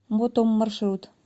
мотом маршрут